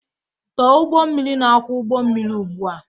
Tọọ ụgbọ mmiri na-akwọ ụgbọ mmiri ugbu a!